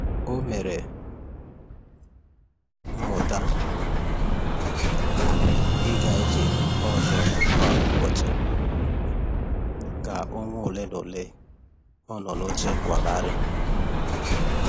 O mere um mmuta um i ga ije ọzọ kwa ụbọchị ka ọnwa ole na ole ọ nọ n'oche nkwagharị.